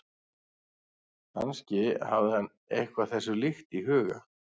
Kannski hafði hann eitthvað þessu líkt í huga.